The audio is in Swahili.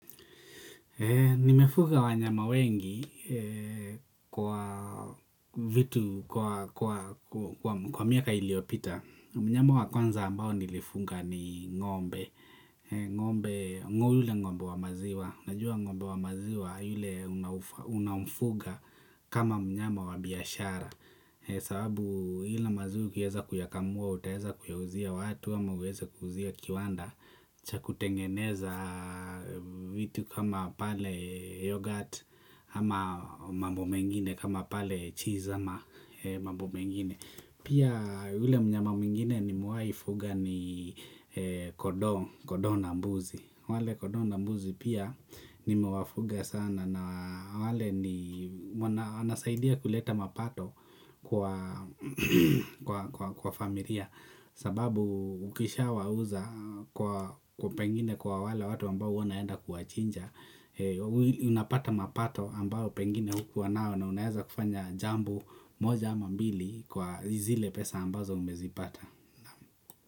Nimefuga wanyama wengi kwa vitu, kwa miaka iliyopita. Mnyama wa kwanza ambao nilifuga ni ng'ombe. Yule ng'ombe wa maziwa. Najua ng'ombe wa maziwa yule unaomfuga kama mnyama wa biashara. Sababu ile maziwa ukiweza kuyakamua, utaweza kuyauzia watu, ama uweza kuuzia kiwanda cha kutengeneza vitu kama pale yoghurt ama mambo mengine kama pale cheese ama mambo mengine pia yule mnyama mwingine nimewahifuga ni kondoo na mbuzi wale kondoo na mbuzi pia nimewafuga sana na wale inasaidia kuleta mapato kwa familia sababu ukishawauza kwa pengine kwa wale watu ambao huwa wanaenda kuwachinja unapata mapato ambayo pengine hukuwanao na unaweza kufanya jambo moja ama mbili kwa zile pesa ambazo umezipata.